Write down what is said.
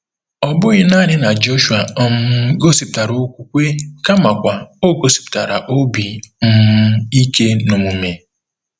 Ọ bụghị nanị na Jọshụa um gosipụtara okwukwe kamakwa o gosipụtara obi um ike n'omume.